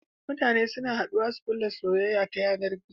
Mutane suna haduwa su kulla soyayya ta yanar gizo